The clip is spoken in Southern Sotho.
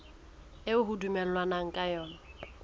eo ho dumellanweng ka yona